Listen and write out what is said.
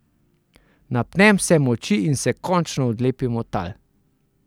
Napnem vse moči in se končno odlepim od tal.